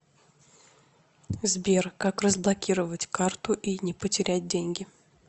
сбер как разблокировать карту и не потерять деньги